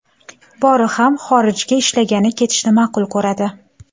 Bori ham xorijga ishlagani ketishni ma’qul ko‘radi.